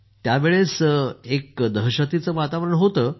त्यावेळेस एक दहशतीचं वातावरण होतं